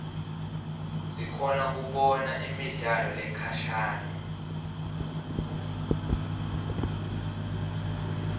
sikhona kubona nemidlalo lekhashane